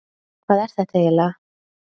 Hvað er þetta eiginlega?